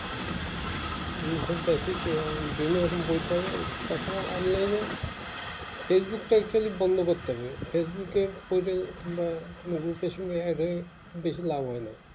বিভিন্ন রকম বই পাওয়া যাই তাছাড়া online এ facebook টা actually বন্ধ করতে হবে facebook এ প্রয়োজন বা বেশি লাভ হয় না